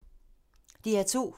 DR2